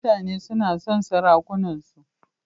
Mutane suna son sarakunansu.